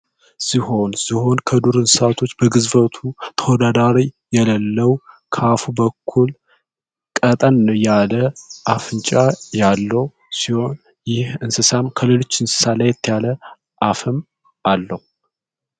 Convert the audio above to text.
ሲሆን ዚሆን ከዱር እንስሳቶች በግዝበቱ ተወዳዳሪ የለለው ከአፉ በኩል ቀጠን ያለ አፍንጫ ያለው ሲሆን ይህ እንስሳም ከሌሎች እንስሳላይት ያለ አፍም አለው